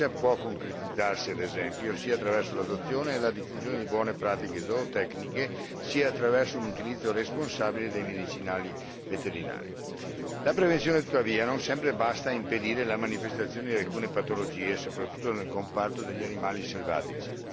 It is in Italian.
Essa può concretizzarsi, ad esempio, sia attraverso l'adozione e la diffusione di buone pratiche zootecniche, sia attraverso un utilizzo responsabile dei medicinali veterinari. La prevenzione, tuttavia, non sempre basta a impedire la manifestazione di alcune patologie, soprattutto nel comparto degli animali selvatici.